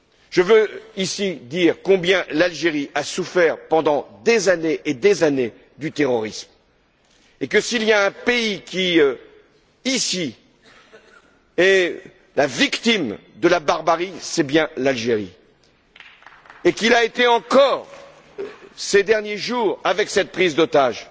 Je veux dire ici combien l'Algérie a souffert pendant des années et des années du terrorisme, et que, s'il y a un pays qui, ici, est la victime de la barbarie, c'est bien l'Algérie. Elle l'a encore été ces derniers jours avec cette prise d'otages.